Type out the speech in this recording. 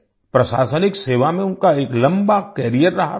प्रशासनिक सेवा में उनका एक लंबा कैरियर रहा था